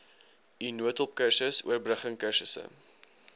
n noodhulpkursus oorbruggingkursusse